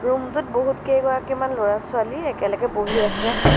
Room টোত বহুতকেইগৰাকীমান ল'ৰা ছোৱালীয়ে একেলগে বহি আছে।